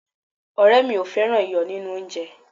ọrẹ mi o fẹràn iyo ninu onje